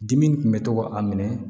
Dimi kun bɛ to ka a minɛ